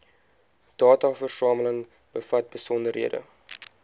dataversameling bevat besonderhede